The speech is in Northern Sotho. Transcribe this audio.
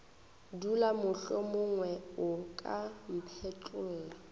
dula mohlomongwe o ka mphetlolla